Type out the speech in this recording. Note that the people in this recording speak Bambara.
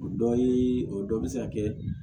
O dɔ ye o dɔ bɛ se ka kɛ